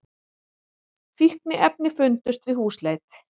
Fíkniefni fundust við húsleit